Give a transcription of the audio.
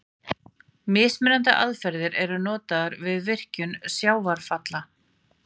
Mismunandi aðferðir eru notaðar við virkjun sjávarfalla.